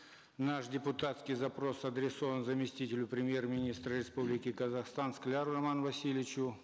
наш депутатский запрос адресован заместителю премьер министра республики казахстан скляру роману васильевичу